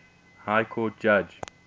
high court judge